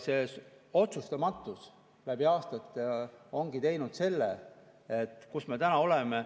Selline otsustamatus läbi aastate ongi loonud olukorra, kus me täna oleme.